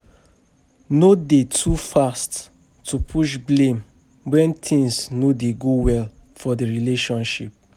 No de too fast to push blame when things no dey go well for di relationship